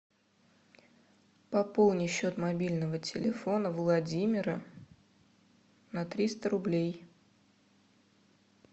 пополни счет мобильного телефона владимира на триста рублей